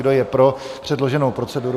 Kdo je pro předloženou proceduru?